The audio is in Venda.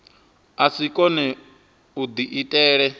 a si kone u diitela